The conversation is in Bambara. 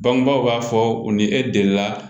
Bangebaaw b'a fɔ u ni e delila